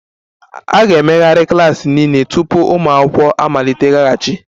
A ga-emegharị klas niile tupu ụmụ akwụkwọ amaliteghachi